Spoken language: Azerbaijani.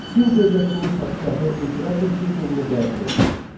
Sin dövlətinin padşahı imperator titulunu qəbul etdi.